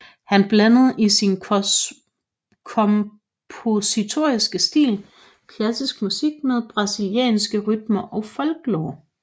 Han blandede i sin kompositoriske stil klassisk musik med brasilianske rytmer og folklore